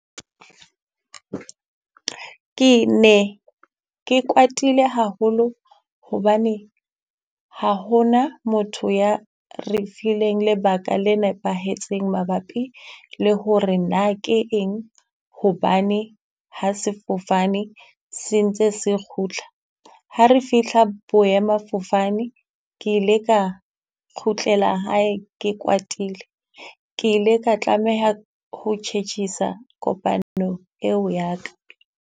Ke ne ke kwatile haholo hobane, ha ho na motho ya re fileng lebaka le nepahetseng mabapi le hore na ke eng, hobane ha sefofane se ntse se kgutla. Ha re fihla boemafofane ke ile ka kgutlela hae ke kwatile, ke ile ka tlameha ho tjhetjhisa kopano eo ya ka.